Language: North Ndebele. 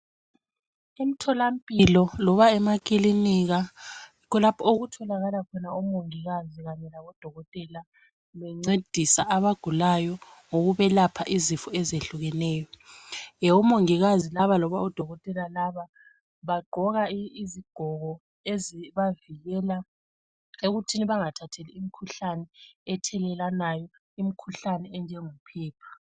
Emtholampilo loba emakilinika yikho lapho okutholakala khona omongikazi kanye labo odokotela bencedisa abagulayo ngokwelapha izifo ezehlukeneyo. Omongikazi loba odokotela labo bagqoka izigqoko ezingabavikela ekutheni bengathathi imikhuhlane ethelelanayo umkhuhlane onjengophepha.